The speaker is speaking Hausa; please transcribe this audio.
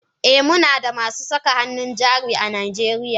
Eh Munada masu saka hannun jari a najeriya.